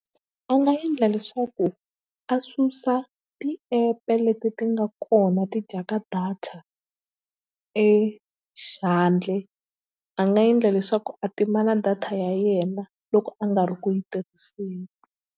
A nga endla leswaku a susa ti-app-e leti ti nga kona ti dyaka data e a nga endla leswaku a tima na data ya yena loko a nga ri ku yi tirhiseni.